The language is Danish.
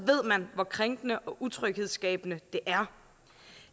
man hvor krænkende og utryghedsskabende det er